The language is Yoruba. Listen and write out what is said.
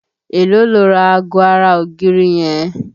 Èló lo ra ago ara ògiri yàrá rẹ?